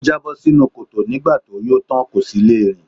Ó jábọ́ sínú kòtò nígbà tó yó tán, kò sì le rìn.